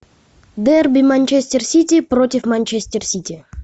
дерби манчестер сити против манчестер сити